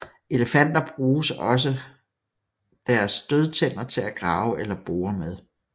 Elefanter bruges også deres stødtænder til at grave eller bore med